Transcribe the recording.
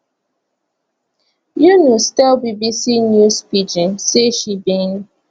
yunus tell bbc news pidgin say she bin